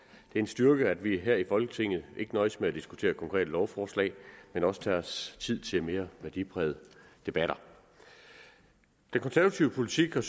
en styrke at vi her i folketinget ikke nøjes med at diskutere konkrete lovforslag men også tager os tid til de mere værdiprægede debatter den konservative politik er